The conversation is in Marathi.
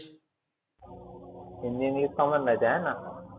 हिंदी English common राहिते हायना?